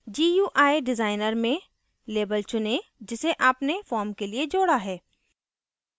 gui designer में label चुनें जिसे आपने form के लिए जोडा है